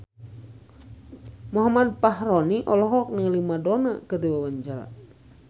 Muhammad Fachroni olohok ningali Madonna keur diwawancara